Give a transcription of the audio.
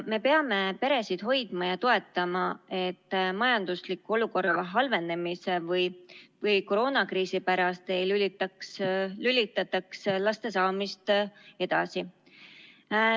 Me peame peresid hoidma ja toetama, et majandusliku olukorra halvenemise või koroonakriisi pärast ei lükataks laste saamist edasi.